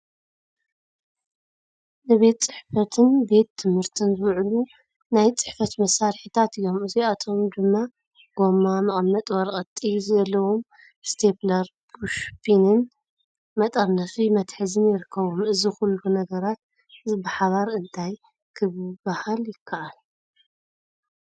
ንቤት ጽሕፈትን ቤት ትምህርትን ዝውዕሉ ናይ ጽሕፈት መሳርሒታት እዮም። እዚኣቶም ድማ ጐማ፡ መቐመጢ ወረቐት፡ ጥይት ዘለዎም ስቴፕለር፡ ፑሽ ፒንን መጠርነፊ መትሓዚን ይርከብዎም። እዚ ዅሉ ነገራት እዚ ብሓባር እንታይ ኪበሃል ይከኣል?